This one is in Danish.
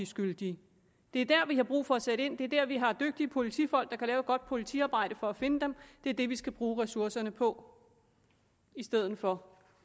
skyldige det er der vi har brug for at sætte ind og det er der vi har dygtige politifolk der kan lave et godt politiarbejde for at finde dem det er det vi skal bruge ressourcerne på i stedet for